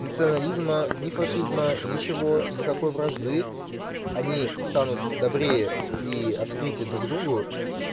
национализма ни фашизма ничего никакой вражды они станут добрее и открытее друг другу